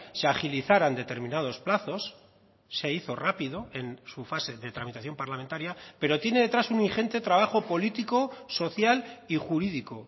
se agilizaran determinados plazos se hizo rápido en su fase de tramitación parlamentaria pero tiene detrás un ingente trabajo político social y jurídico